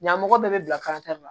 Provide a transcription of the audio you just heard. Ɲan mɔgɔ bɛɛ bɛ bila la